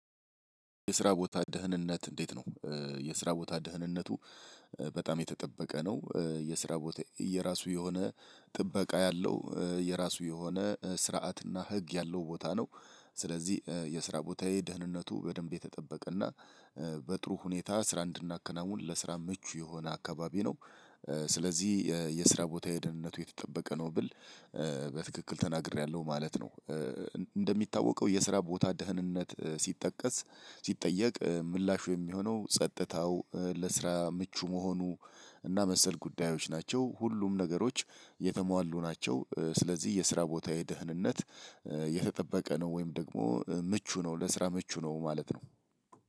የስራ ቦታ ደህንነት እንዴት ነው? የስራ ቦታ ደህንነቱ በጣም የተጠበቀ ነው የስራ ቦታ የየራሱ የሆነ ጥበቃ ያለው የራሱ የሆነ ስርዓት እና ህግ ያለው ቦታ ነው። ስለዚህ የስራ ቦታዬ ደህንነቱ በደንብ የተጠበቀና በጥሩ ሁኔታ ስራ እንድናከናውን ለስራ ምቹ የሆነ አካባቢ ነው። ስለዚህ የስራ ቦታዬ የደህንነቱ የተጠበቀ ነው ብል በትክክል ተናግሬያለሁ ማለት ነው። እንደሚታወቀው የስራ ቦታ ደህንነት ሲጠቀስ ሲጠየቅ ምላሹ የሚሆነው ጸጥታው ለስራ ምቹ መሆኑ እና መሰል ጉዳዮች ናቸው ሁሉም ነገሮች የተሟሉ ናቸው። ስለዚህ የስራ ቦታዬ የደህንነት የተጠበቀ ነው ወይም ደግሞ ምቹ ነው ለስራ ምቹ ነው ማለት ነው።